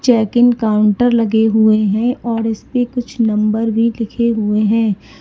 Checking counter लगे हुए हैं और इसपे कुछ नंबर भी लिखे हुए हैं।